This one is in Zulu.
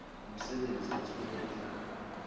umsebenzi ethule uhlaka